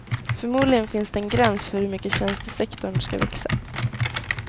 Förmodligen finns det en gräns för hur mycket tjänstesektorn ska växa.